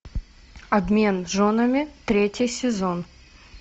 обмен женами третий сезон